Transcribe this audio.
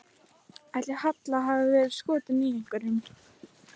Ætli Halla hafi verið skotin í einhverjum?